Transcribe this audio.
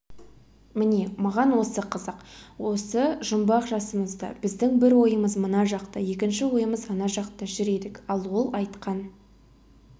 міне маған осы қызық осы жұмбақ жасымызда біздің бір ойымыз мына жақта екінші ойымыз ана жақта жүр едік ал ол айтқан